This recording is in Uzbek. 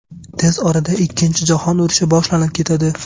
Tez orada ikkinchi jahon urushi boshlanib ketadi.